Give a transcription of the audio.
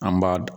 An b'a d